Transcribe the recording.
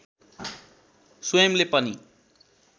स्वयंले पनि